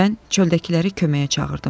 Mən çöldəkiləri köməyə çağırdım.